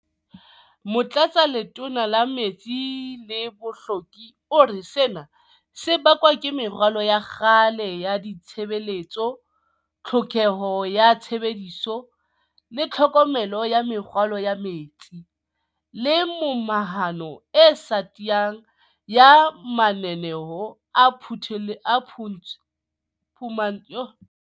Motlatsaletona la Metsi le Bohlweki o re sena se bakwa ke meralo ya kgale ya ditshebeletso, tlhokeho ya tshebediso le tlhokomelo ya meralo ya metsi, le momahano e sa tiyang ya mananeo a phumantsho ya bodulo le diprojeke tsa jwale tsa ntshetsopele ya meralo ya ditshebeletso.